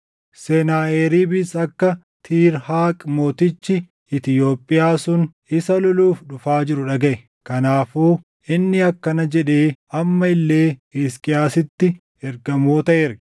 Senaaheriibis akka Tiirhaaq mootichi Itoophiyaa sun isa loluuf dhufaa jiru dhagaʼe. Kanaafuu inni akkana jedhee amma illee Hisqiyaasitti ergamoota erge;